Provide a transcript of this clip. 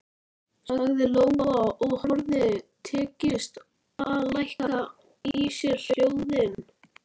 sagði Lóa og hafði tekist að lækka í sér hljóðin.